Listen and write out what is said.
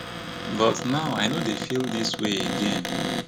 but now i no dey feel dis way again